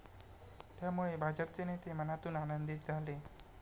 त्यामुळे भाजपचे नेते मनातून आनंदीत झाले.